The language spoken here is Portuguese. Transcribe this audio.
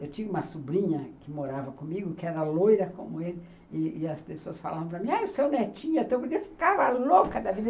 Eu tinha uma sobrinha que morava comigo, que era loira como ele, e as pessoas falavam para mim, ah, o seu netinho é tão bonitinho, eu ficava louca da vida.